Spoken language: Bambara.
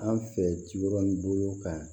An fɛ kibaru bolo kan